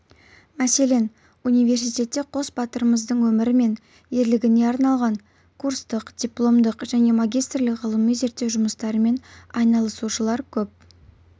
мәселен университетте қос батырдың өмірі мен ерлігіне арналған курстық дипломдық және магистрлік ғылыми-зерттеу жұмыстарымен айналысушылар көп